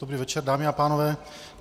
Dobrý večer, dámy a pánové.